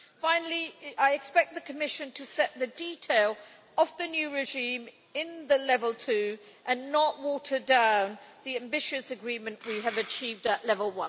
Finally, I expect the Commission to set the detail of the new regime in the Level 2 and not water down the ambitious agreement we have achieved at Level